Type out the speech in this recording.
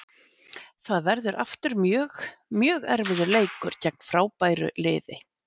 Það verður aftur mjög, mjög erfiður leikur gegn frábæru liði.